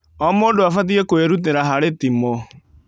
O mũndũ abatie kwĩrutĩra harĩ timu.